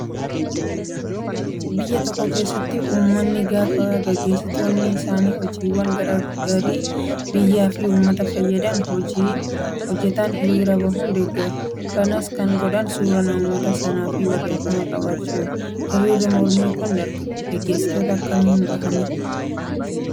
Biyya tokko keessatti uummanni gaafa gaggeessitoonni isaanii hojiiwwan gaggaarii biyyaa fi uummata fayyadan hojjatan hiriira bahuun deeggaru. Kanas kan godhan suuraa namoota sanaa fi barreeffama qabachuuni. Hiriirri mormii kan gaggeessitootaa akkamiin bahamaa?